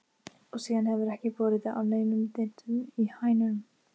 Og síðan hefur ekki borið á neinum dyntum í hænunum.